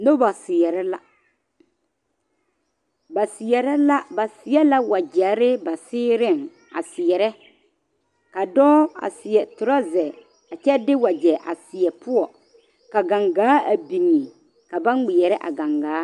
Noba seɛrɛ la ba seɛrɛ la ba seɛ la wagyɛre ba seereŋ a seɛrɛ ka dɔɔ a seɛ torɔzɛ kyɛ de wagyɛ a seɛ poɔ ka gangaa a biŋ ka ba ŋmeɛrɛ a gangaa.